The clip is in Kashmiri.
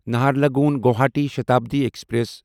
نہرلگون گواہاٹی شتابڈی ایکسپریس